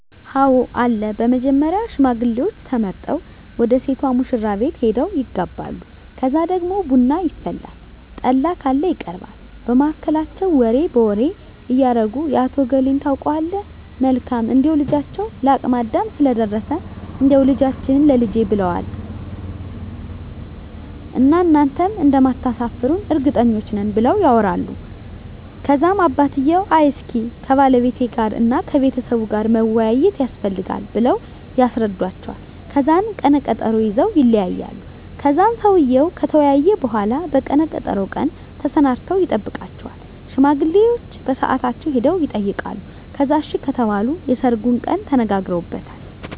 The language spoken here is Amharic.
አወ አለ በመጀመሪያ ሽማግሌዎች ተመርጠው ወደ ሴቷ ሙሽራቤት ሄደው ይጋባሉ ከዛ ደግሞ ቡና ይፈላል ጠላ ካለ ይቀርባል በመሀከላቸው ወሬ በወሬ እያረጉ የአቶ እገሌን ታውቀዋለህ መልካም እንደው ልጃቸው ለአቅመ አዳም ስለደረሰ እንዳው ልጃችህን ላልጄ ብለውዋን እና እናንተም እንደማታሰፍሩን እርግጠኞች ነን ብለው ያወራሉ ከዛም አባትየው አይ እስኪ ከባለቤቴ ጋር እና ከቤተሰቡ ጋር መወያያት የስፈልጋል ብለው ያስረዱዎቸዋል ከዛን ቀነ ቀጠሮ ይዘወ ይለያያሉ ከዛን ሰውየው ከተወያየ በሁላ በቀነ ቀጠሮው ቀን ተሰናድተው ይጠብቃቸዋል ሽማግሌዎቸ በሳአታቸው ሄደው የጠይቃሉ ከዛን አሺ ከተባሉ የሰርጉን ቀን ተነጋግረውበታል